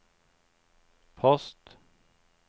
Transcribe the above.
post